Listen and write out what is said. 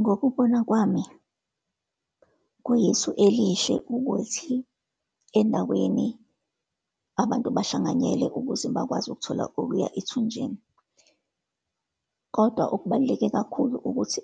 Ngokubona kwami, kuyisu elihle ukuthi endaweni abantu bahlanganyele ukuze bakwazi ukuthola okuya ethunjini. Kodwa okubaluleke kakhulu ukuthi